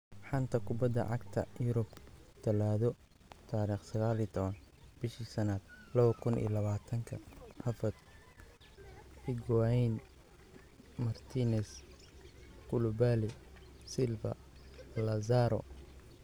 Xanta Kubadda Cagta Yurub Talaado 19.05.2020: Havertz, Higuain, Martinez, Koulibaly, Silva, Lazaro